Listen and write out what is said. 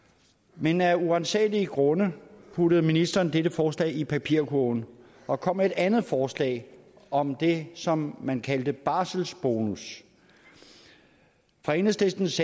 men af uransagelige grunde puttede ministeren dette forslag i papirkurven og kom med et andet forslag om det som man kaldte barselsbonus fra enhedslistens